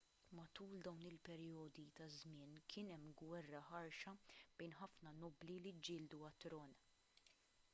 matul dawn il-perjodi ta' żmien kien hemm gwerra ħarxa bejn ħafna nobbli li ġġieldu għat-tron